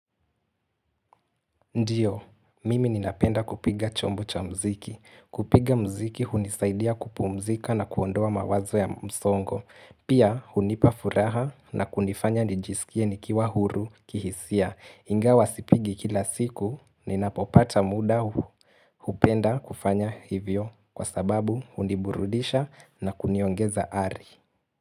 Ndiyo, mimi ninapenda kupiga chombo cha muziki. Kupiga muziki hunisaidia kupumzika na kuondoa mawazo ya msongo. Pia hunipa furaha na kunifanya nijiskie nikiwa huru kihisia. Ingawa sipigi kila siku, ninapopata muda hu. Hupenda kufanya hivyo kwa sababu huniburudisha na kuniongeza ari.